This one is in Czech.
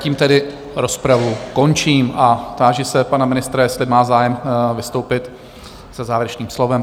Tím tedy rozpravu končím a táži se pana ministra, jestli má zájem vystoupit se závěrečným slovem?